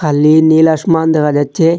Lin নীল আসমান দেখা যাচ্ছে।